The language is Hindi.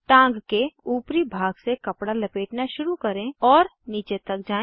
टाँग के ऊपरी भाग से कपडा लपेटना शुरू करें और नीचे तक जाएँ